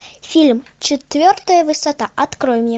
фильм четвертая высота открой мне